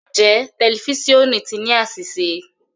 Njẹ tẹlifisiọnu ti ni aṣiṣe?